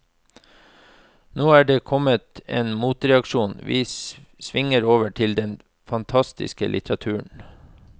Nå er det kommet en motreaksjon, vi svinger over til den fantastiske litteraturen.